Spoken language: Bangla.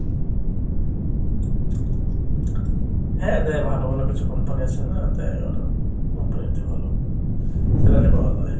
হ্যাঁ দেয় ভালো ভালো কিছু company আছে না দেয় ওরা দেয় companyতে ভালো salary পাওয়া যায়।